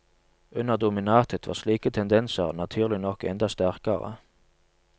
Under dominatet var slike tendenser naturlig nok enda sterkere.